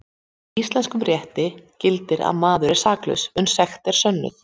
Í íslenskum rétti gildir að maður er saklaus uns sekt er sönnuð.